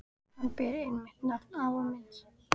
Hann ber einmitt nafn afa míns.